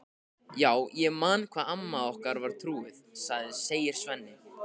Já, ég man hvað amma okkar var trúuð, segir Svenni.